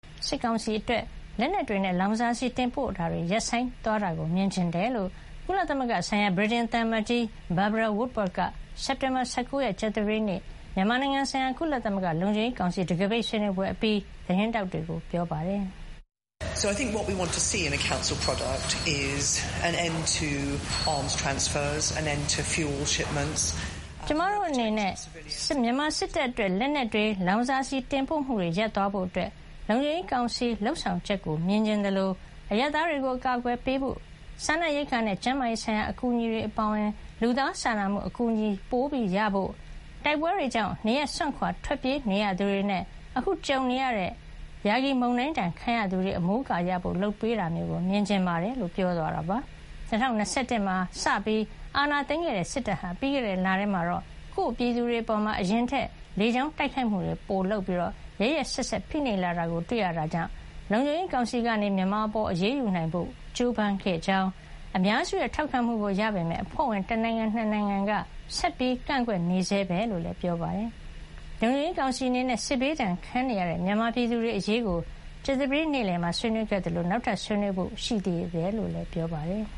စစ်ကောင်စီအတွက် လက်နက်တွေနဲ့ လောင်စာဆီတင်ပို့ပေးတာတွေ ရပ်ဆိုင်းသွားတာမြင်ချင်တယ်လို့ ကုလသမဂ္ဂဆိုင်ရာ ဗြိတိန်သံ အမတ်ကြီး Barbara Woodward က စက်တင်ဘာ ၁၉ ရက် ကြာသပတေးနေ့ မြန်မာနိုင်ငံဆိုင်ရာကုလသမဂ္ဂ လုံခြုံရေးကောင်စီ တံခါးပိတ်ဆွေးနွေးပွဲအပြီး သတင်းထောက်တွေကို ပြောပါတယ်။ “ကျမတို့အနေနဲ့ မြန်မာစစ်တပ်အတွက် လက်နက်တွေ၊ လောင်စာဆီတင်ပို့မှုတွေ ရပ်သွားဖို့ လုံခြုံရေးကောင်စီလုပ်ဆောင်ချက်ကို မြင်ချင် သလို အရပ်သားတွေကို အကာကွယ်ပိုပေးဖို့၊ စားနပ်ရိက္ခာနဲ့ ကျန်းမာရေးဆိုင်ရာ အကူညီတွေအပါအဝင် လူသားစာနာမှုအကူညီပိုရဖို့၊ တိုက်ပွဲတွေကြောင့် နေရပ်စွန့်ခွါထွက်ပြေးနေရသူတွေနဲ့ အခု ကြုံခဲ့ရတဲ့ယာဂီမုန်တိုင်းဒဏ်ခံရသူတွေ မိုးအကာရဖို့ လုပ်ပေးတာမျိုး မြင်ချင်ပါတယ်” - လို့ပြောသွားတာပါ။ ၂၀၂၁ မှာ စပြီးအာဏာသိမ်းခဲ့တဲ့ စစ်တပ်ဟာ ပြီးခဲ့တဲ့လထဲမှာတော့ ကိုယ့်ပြည်သူတွေအပေါ် အရင်ထက် လေကြောင်းတိုက်ခိုက်မှုပိုလုပ်ပြီး ရက်ရက်စက်စက် ဖိနှိပ်လာတာကို တွေ့ရတဲ့အတွက် လုံခြုံရေးကောင်စီကနေ မြန်မာအပေါ်အရေးယူနိုင်ဖို့ကြိုးပမ်းခဲ့ကြောင်း၊ အများစုရဲ့ ထောက်ခံမှုကိုရပေမယ့် အဖွဲ့ဝင်တနိုင်ငံ - ၂ နိုင်ငံက ဆက်ပြီး ကန့်ကွက်နေဆဲပဲလို့လည်း ပြောပါတယ်။ လုံခြုံရေးကောင်စီအနေနဲ့ စစ်ဘေးဒဏ် ခံနေရတဲ့ မြန်မာပြည်သူတွေအရေးကိုကြာသပတေးနေ့ နေ့လည်မှာ ဆွေးနွေးခဲ့သလို နောက်ထပ် ဆွေးနွေးဖို့ ရှိနေသေးတယ်လို့လည်း ပြောပါတယ်။